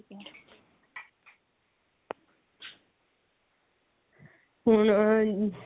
ਹੁਣ